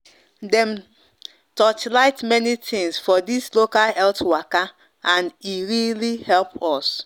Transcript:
dem torchlight many things for this local health waka and e really help us